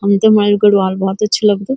हमते हमारू गढ़वाल भौत अच्छू लगदू।